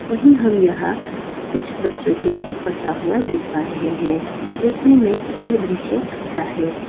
वही हम यहां कुछ बच्चों को पड़ता हुआ देख पा रहे हैं देखने में यह दृश्य अच्छा है।